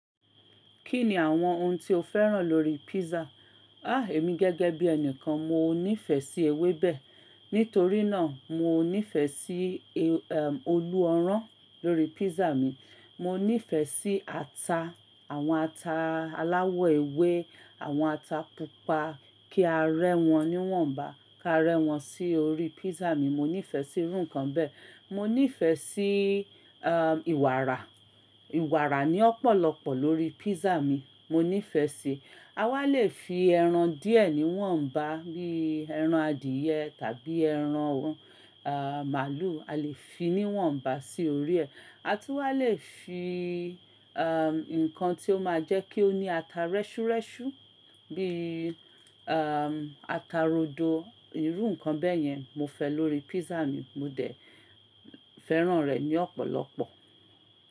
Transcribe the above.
Kí ni àwọn ohun tí o fẹ́ràn lórí pizza? Ah! Èmi gẹ́gẹ́ bí ẹni kan, mo níìfẹ̀ sí ewébẹ̀. Nítorí náà mo níìfẹ̀ sí a, ehm, olú ọrán lórí pízza mi. Mo níìfẹ̀ sí ata, àwọn ata aláwọ̀ ewé, àwọn ata pupa, kí a rẹ́ wọn ní wọ́n bá, ká rẹ́ wọn sí orí pízza mi. Mo níìfẹ̀ sí irú nǹkan bẹ́ẹ̀. Mo níìfẹ̀ sí, eh, ìwàrà. Ìwàrà ní ọ̀pọ̀lọpọ̀ lórí pízza mi, mo níìfẹ̀ sí i. A wá lè fi ẹran díẹ̀ ní wọ́n bá, bí i ẹran adìyẹ tàbí ẹran, ah, màlúù, a lè fi ní wọ́n bá sí orí ẹ. A tún wá lè fi, eh, nǹkan tí ó máa jẹ́ kí ó ní ata rẹ́ṣúrẹ́ṣú bí i, eh, ata rodo, irú nǹkan bẹ́ẹ̀ yẹn mo fẹ́ lórí pizza mi. Mo dẹ̀ fẹ́ràn rẹ̀ ní ọ̀pọ̀lọpọ̀.